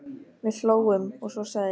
Við hlógum, og svo sagði ég